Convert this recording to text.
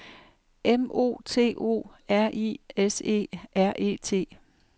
M O T O R I S E R E T